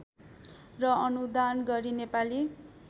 र अनुदान गरी नेपाली